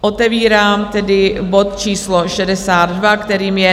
Otevírám tedy bod číslo 62, kterým je